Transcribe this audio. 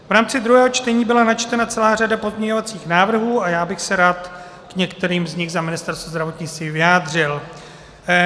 V rámci druhého čtení byla načtena celá řada pozměňovacích návrhů a já bych se rád k některým z nich za Ministerstvo zdravotnictví vyjádřil.